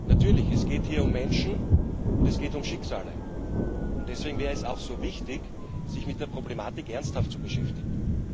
Natürlich, geht es hier um Menschen, und es geht um Schicksale, und deswegen wäre es auch so wichtig, sich mit der Problematik ernsthaft zu beschäftigen.